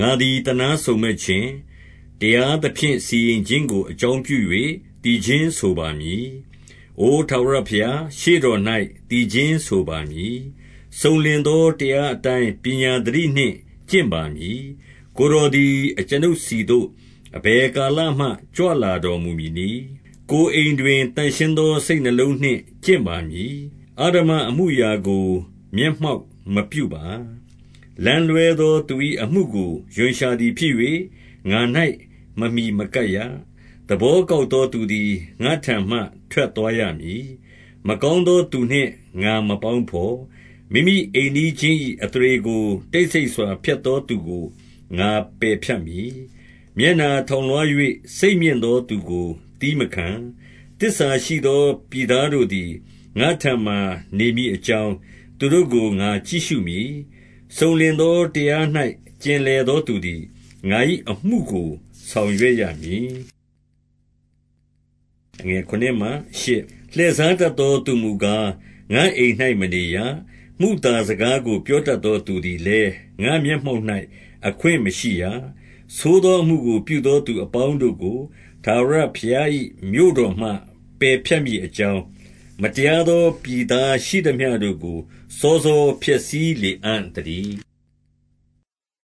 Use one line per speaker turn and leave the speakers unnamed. ငါသည် သနားစုံမက်ခြင်း၊ တရားသဖြင့် စီရင် ခြင်းကို အကြောင်းပြု၍ သီချင်းဆိုပါမည်။ အို ထာဝရ ဘုရား၊ ရှေ့တော်၌ သီချင်းဆိုပါမည်။ စုံလင်သော တရားအတိုင်း ပညာသတိနှင့် ကျင့်ပါမည်။ ကိုယ်တော်သည် အကျွန်ုပ်ဆီသို့ အဘယ် ကာလမှ ကြွလာတော်မူမည်နည်း။ ကိုယ်အိမ်တွင် သန့်ရှင်းသော စိတ်နှလုံးနှင့်ကျင့်ပါမည်။ အဓမ္မအမှုအရာကို မျက်မှောက်မပြုပါ။ လမ်းလွှဲ သော သူ၏ အမှုကို ရွံရှာသည်ဖြစ်၍၊ ငါ၌ မမှီမကပ်ရ။ သဘောကောက်သော သူသည် ငါ့ထံမှ ထွက် သွားရမည်။ မကောင်းသောသူနှင့် ငါမပေါင်းဘော်။ မိမိအိမ် နီးချင်း၏ အသရေကို တိတ်ဆိတ်စွာ ဖျက်သော သူကို ငါပယ်ဖြတ်မည်။ မျက်နှာထောင်လွှား၍ စိတ်မြင့်သောသူကို သည်းမခံ။ သစ္စာရှိသော ပြည်သားတို့ သည် ငါ့ထံမှာ နေမည် အကြောင်း သူတို့ကို ငါကြည့်ရှုမည်။ စုံလင်သောတရား၌ ကျင်လည်သောသူသည် ငါ၏ အမှုကို ဆောင်ရွက်ရမည်။ လှည့်စားတတ်သောသူမူကား၊ ငါ့အိမ်၌ မနေရ။ မုသာစကားကို ပြောတတ်သော သူသည်လည်း၊ ငါ့မျက်မှောက်၌ အခွင့်မရှိရ။ ဆိုးသောအမှုကို ပြုသောသူအပေါင်းတို့ကို ထာဝရဘုရား၏ မြို့တော်မှ ပယ်ဖြတ်မည်အကြောင်း၊ မတရားသော ပြည်သားရှိသမျှတို့ကို စောစောဖျက်ဆီး လေအံ့သတည်း။